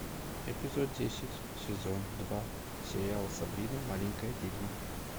эпизод десять сезон два сериал сабрина маленькая ведьма